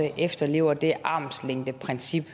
efterlever det armslængdeprincip